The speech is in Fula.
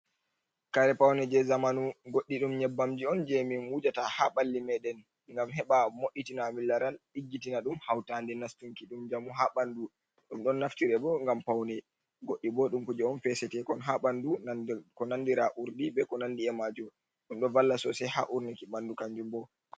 Kare pawne je zamanu. Goɗɗi ɗum nyebbamji on je min wujata ha ɓalli meɗen ngam heɓa mo'itina a min laran, ɗiggitina ɗum, haw tade nastunki ɗum njamu ha ɓandu. Ɗum ɗon naftire bo ngam paune. Goɗɗi bo ɗum kuje on fesetekon ha ɓandu ko nandira urdi be ko nandi e majum. Ɗum ɗo valla sosai ha urniki ɓandu kanjum bo.